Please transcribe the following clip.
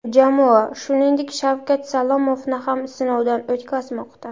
Jamoa, shuningdek, Shavkat Salomovni ham sinovdan o‘tkazmoqda .